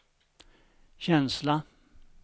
känsla